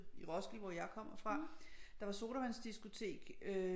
I Roskilde hvor jeg kommer fra der var sodavandsdiskotek øh